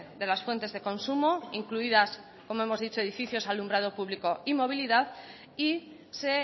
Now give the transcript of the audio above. de las fuentes de consumo incluidas como hemos dicho edificios alumbrado público y movilidad y se